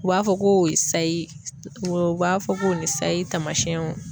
U b'a fɔ ko o ye sayi ye. U b'a fɔ ko o ni sayi tamasiyɛnw